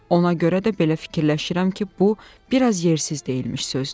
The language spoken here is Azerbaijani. Ona görə də belə fikirləşirəm ki, bu biraz yersiz deyilmiş sözdür.